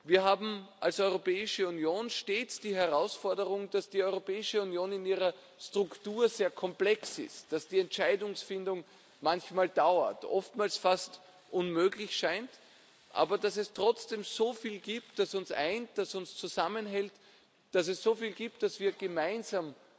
Wir haben als Europäische Union stets die Herausforderung, dass die Europäische Union in ihrer Struktur sehr komplex ist, dass die Entscheidungsfindung manchmal dauert, oftmals fast unmöglich scheint, aber dass es trotzdem so viel gibt, das uns eint, das uns zusammenhält, dass es so viel gibt, das wir gemeinsam